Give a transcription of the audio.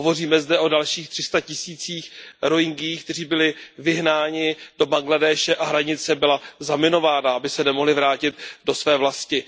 Hovoříme zde o dalších tři sta tisících Rohingyů, kteří byli vyhnáni do Bangladéše, a hranice byla zaminována, aby se nemohli vrátit do své vlasti.